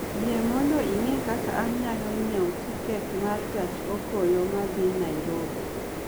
Yie mondo ing'e kaka anyalo nyiewo tiket ma gach okoloma dhi Nairobi